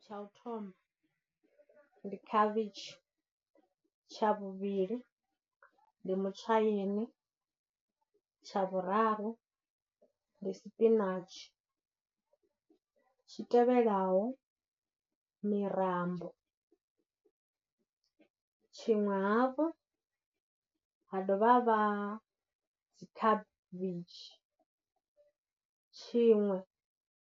Tsha u thoma ndi khavhitshi, tsha vhuvhili ndi mutshaini, tsha vhuraru ndi sipinatshi, zwi tevhelaho mirambo, tshiṅwe hafhu ha dovha ha vha dzikhavhitshi, tshiṅwe.